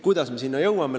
Kuidas me selleni jõuame?